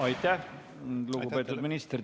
Aitäh, lugupeetud minister!